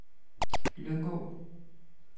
Lyngå